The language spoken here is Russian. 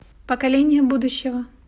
поколение будущего